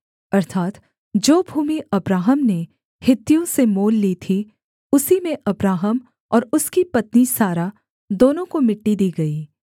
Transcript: अर्थात् जो भूमि अब्राहम ने हित्तियों से मोल ली थी उसी में अब्राहम और उसकी पत्नी सारा दोनों को मिट्टी दी गई